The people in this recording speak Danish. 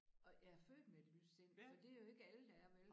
Og jeg er født med et lyst sind for det jo ikke alle der er vel